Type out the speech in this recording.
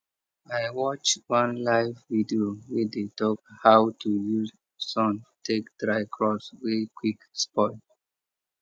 i watch one live video wey dey talk how to use sun take dry crops wey quick spoil